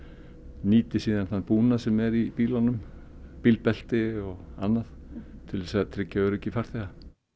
nýti sér þann búnað sem eru í bílunum bílbelti og annað til að tryggja öryggi farþega